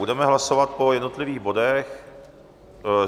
Budeme hlasovat po jednotlivých bodech.